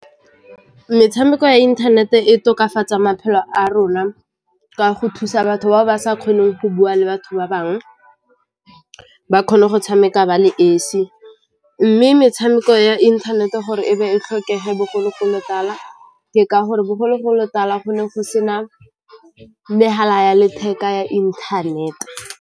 Metshameko ya inthanete e tokafatsa maphelo a rona ka go thusa batho ba ba sa kgoneng go bua le batho ba bangwe ba kgone go tshameka ba le esi mme metshameko ya inthanete gore e be e tlhokege bogologolotala ke ka gore bogologolotala gone go sena megala ya letheka ya inthanete.